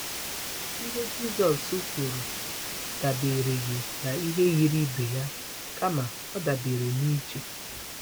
Ihe Jisọs kwuru dabereghị na ihe yiri ibe ya, kama ọ dabere na iche.